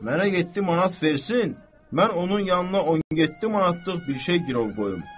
Mənə yeddi manat versin, mən onun yanına 17 manatlıq bir şey girov qoyum.